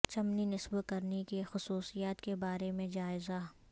چمنی نصب کرنے کی خصوصیات کے بارے میں جائزہ